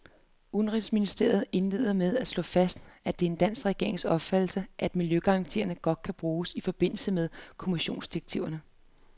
Udenrigsministeren indleder med at slå fast, at det er den danske regerings opfattelse, at miljøgarantien godt kan bruges i forbindelse med kommissionsdirektiver.